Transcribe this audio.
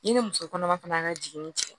Ne ni muso kɔnɔma fana n ka jiginin